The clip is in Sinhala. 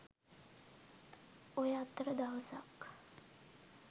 ඔය අතර දවසක්